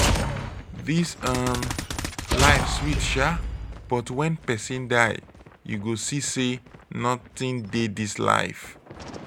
dis um life sweet shaa but wen pesin die you go see sey notin dey dis life.